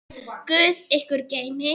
Guð ykkur geymi.